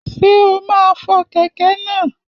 Ṣé o máa fọ kẹ̀kẹ́ náà?